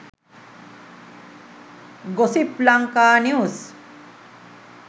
gossip lanka news